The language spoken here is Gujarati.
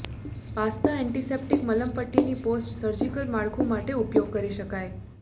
પાસ્તા એન્ટિસેપ્ટિક મલમપટ્ટીની પોસ્ટ સર્જિકલ માળખું માટે ઉપયોગ કરી શકાય